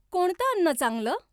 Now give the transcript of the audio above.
कोणतं अन्न चांगलं?